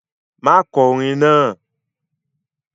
Má kọ orin náà!